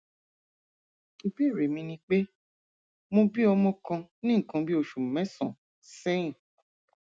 ìbéèrè mi ni pé mo bí ọmọ kan ní nǹkan bí oṣù mẹsànán sẹyìn